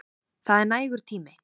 Það er nægur tími.